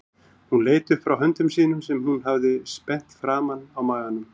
Hún leit upp frá höndum sínum sem hún hafði spenntar framan á maganum.